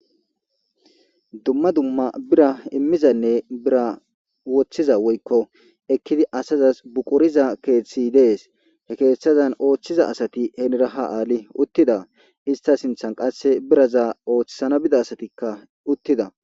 Duma Duma bira immiza bira wothiza Woyko asazas buqiriza Besay Des He Kethaza othiza Asati Henira ha Ali uttida Ista sinthan qase bira bitaza othisans Bida asati uttida